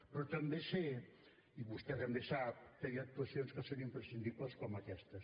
però també sé i vostè també sap que hi ha actuacions que són imprescindibles com aquestes